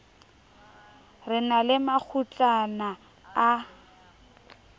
re na le makgutlana a